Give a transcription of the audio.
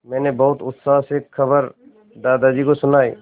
मैंने बहुत उत्साह से खबर दादाजी को सुनाई